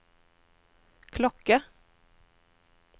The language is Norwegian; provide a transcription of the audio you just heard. klokke